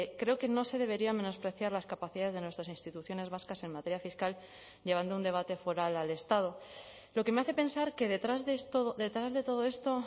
creo que no se debería menospreciar las capacidades de nuestras instituciones vascas en materia fiscal llevando un debate foral al estado lo que me hace pensar que detrás de esto detrás de todo esto